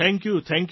thank you